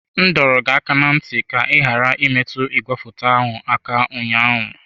M dọrọ gị aka ná ntị ka ị ghara imetụ igwefoto ahụ aka ụnyaahụ!